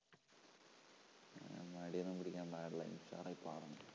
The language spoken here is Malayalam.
മടി ഒന്നും പിടിക്കാൻ പാടില്ല ഉഷാറായി പാടണം